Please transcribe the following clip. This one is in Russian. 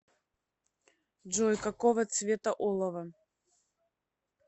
джой какого цвета олово